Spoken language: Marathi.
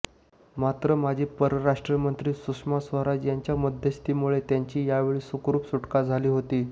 मात्र माजी परराष्ट्रमंत्री सुषमा स्वराज यांच्या मध्यस्थीमुळे त्यांची त्यावेळी सुखरूप सुटका झाली होती